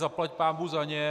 Zaplať pánbůh za ně.